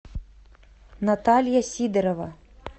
наталья сидорова